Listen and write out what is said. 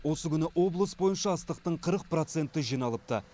осы күні облыс бойынша астықтың қырық проценті жиналыпты